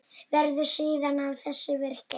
Verður síðar að þessu vikið.